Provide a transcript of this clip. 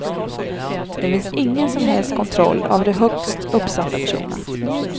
Det finns ingen som helst kontroll av de högst uppsatta personerna.